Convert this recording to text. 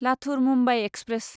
Latur Mumbai express